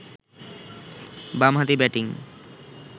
বামহাতি ব্যাটিং